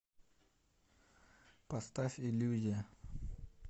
поставь иллюзия